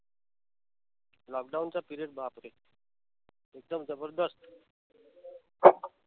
lockdown चा period बापरे एकदम जबरदस्त